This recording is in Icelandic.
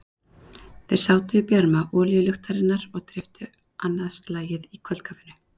Þeir sátu í bjarma olíuluktarinnar og dreyptu annað slagið á kvöldkaffinu.